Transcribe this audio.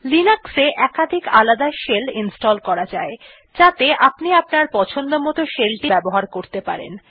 Linux এ একাধিক আলাদা শেল ইনস্টল করা যায় যাতে আপনি আপনার পছন্দমত shell টি ব্যবহার করতে পারেন